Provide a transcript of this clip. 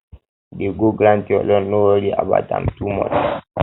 dey go grant your loan no worry about am too much